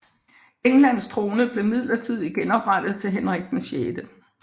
Englands trone blev midlertidigt genoprettet til Henrik 6